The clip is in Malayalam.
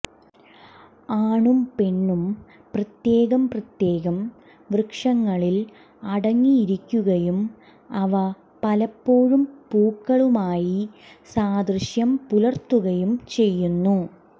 ആണും പെണ്ണും പ്രത്യേകം പ്രത്യേകം വൃക്ഷങ്ങളിൽ അടങ്ങിയിരിക്കുകയും അവ പലപ്പോഴും പൂക്കളുമായി സാദൃശ്യം പുലർത്തുകയും ചെയ്യുന്നു